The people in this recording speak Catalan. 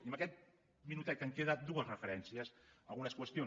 i en aquest minutet que em queda dues referències a algunes qüestions